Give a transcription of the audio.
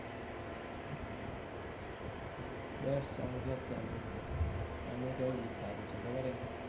best song છે અત્યારનું તો એનું કયું ગીત સારું છે ખબર છે